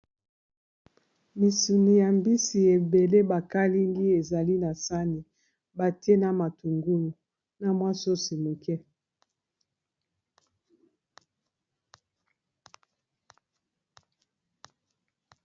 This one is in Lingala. Misuni ya mbisi ebele bakalingi, ezali na sani. Ba tie na matungulu, na mwa sosi moke.